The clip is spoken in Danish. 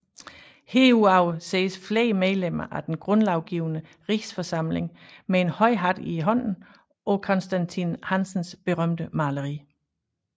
Herudover ses flere medlemmer af den Grundlovgivende Rigsforsamling med en høj hat i hånden på Constantin Hansens berømte maleri